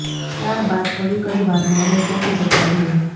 ત્યારબાદ થોડીક જ વારમાં અમે ત્યાંથી જતા રહ્યા